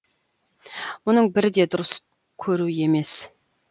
мұның бірі де дұрыс көру емес